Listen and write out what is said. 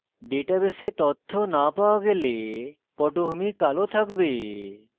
ডাটাবেসে তথ্য no পাওয়া গেলে পটভূমি কালো থাকবে